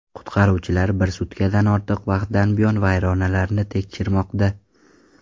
Qutqaruvchilar bir sutkadan ortiq vaqtdan buyon vayronalarni tekshirmoqda.